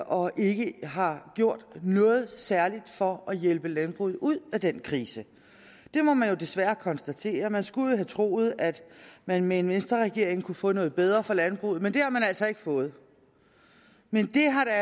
og ikke har gjort noget særligt for at hjælpe landbruget ud af den krise det må man jo desværre konstatere man skulle jo have troet at man med en venstreregering kunne få noget bedre for landbruget men det har man altså ikke fået men det har da